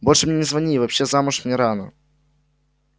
больше мне не звони и вообще замуж мне рано